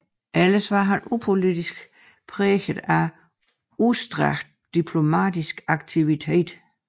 Ellers var hans udenrigspolitik præget af udstrakt diplomatisk aktivitet